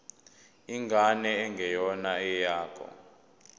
ingane engeyona eyakho